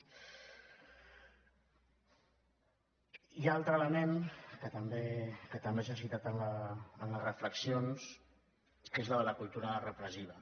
i l’altre element que també s’ha citat en les reflexions que és el de la cultura repressiva